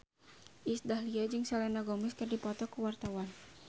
Iis Dahlia jeung Selena Gomez keur dipoto ku wartawan